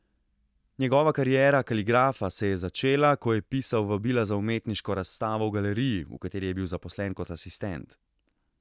Njegova kariera kaligrafa se je začela, ko je pisal vabila za umetniško razstavo v galeriji, v kateri je bil zaposlen kot asistent.